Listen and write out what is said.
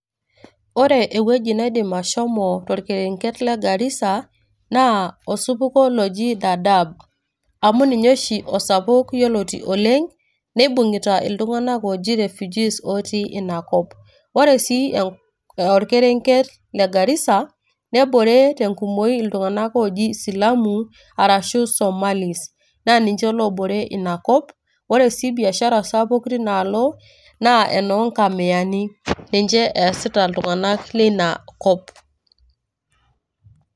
Ore ewueji naidim ashomo tolkerenket le Garisa naa osupuko loji Dadaab. Amu ninye oshi osapuk yioloti oleng neibung`ita iltung`anak ooji refugees otii ina kop. Ore sii olkerenket le Garisa nebore te nkumoi iltung`anak ooji isilamu arashu Somalis. Na ninvhe oobore ina kop. Ore sii biashara sapuk tina alo na enoo nkamiyani ninche easita iltung`anak leina kop.